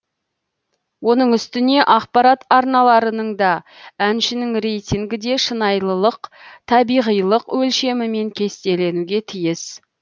оның үстіне ақпарат арналарының да әншінің рейтингі де шынайылылық табиғилық өлшемімен кестеленуге тиіс